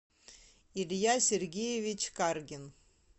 илья сергеевич каргин